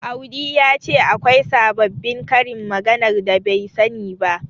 Audi ya ce akwai sababbin karin maganar da bai sani ba.